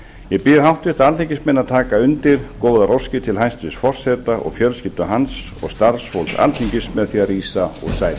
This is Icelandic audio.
ég bið háttvirta alþingismenn að taka undir góðar óskir til hæstvirts forseta og fjölskyldu hans og starfsfólks alþingis með því að rísa